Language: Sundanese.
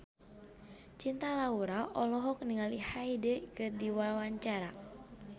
Cinta Laura olohok ningali Hyde keur diwawancara